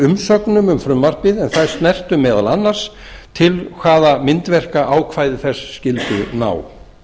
umsögnum um frumvarpið en þær snertu meðal annars til hvaða myndverka ákvæði þess skyldu ná